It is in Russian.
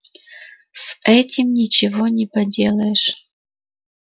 с этим ничего не поделаешь